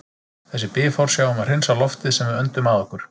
Þessi bifhár sjá um að hreinsa loftið sem við öndum að okkur.